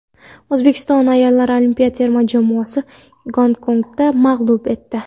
O‘zbekiston ayollar olimpiya terma jamoasi Gonkongni mag‘lub etdi.